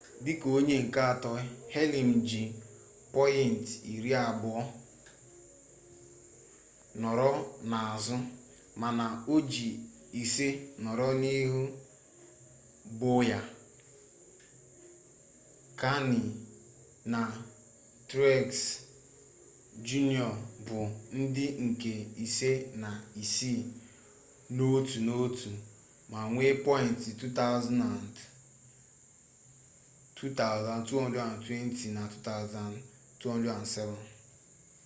dịka onye nke atọ hamlin ji pọyịnt iri abụọ nọrọ n'azụ mana o ji ise nọrọ n'ihu bowyer kahne na truex jr bụ ndị nke ise na isii n'otu n'otu ma nwee pọyịnt 2,220 na 2,207